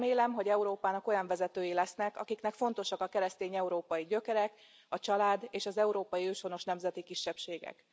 Remélem, hogy Európának olyan vezetői lesznek, akiknek fontosak a keresztény európai gyökerek, a család és az európai őshonos nemzeti kisebbségek.